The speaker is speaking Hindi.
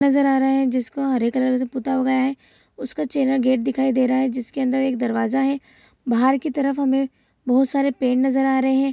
नजर आ रहा है जिसको हरे कलर से पुता गया है उसका चेना गेट दिखाई दे रहा है जिसके अंदर एक दरवाजा है बाहर की तरफ हमे बहुत सारे पेड़ नजर आ रहे है ।